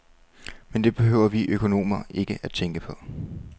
Men det behøver vi økonomer ikke tænke på.